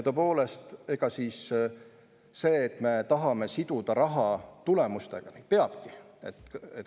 Tõepoolest, see, et me tahame siduda raha tulemustega – nii peabki.